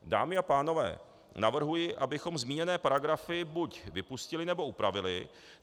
Dámy a pánové, navrhuji, abychom zmíněné paragrafy buď vypustili, nebo upravili.